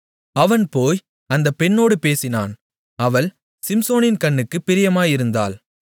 அவன் போய் அந்தப் பெண்ணோடு பேசினான் அவள் சிம்சோனின் கண்ணுக்குப் பிரியமாயிருந்தாள்